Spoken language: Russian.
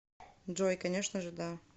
джой конечно же да